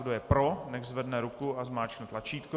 Kdo je pro, nechť zvedne ruku a zmáčkne tlačítko.